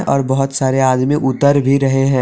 और बहुत सारे आदमी उतर भी रहे हैं।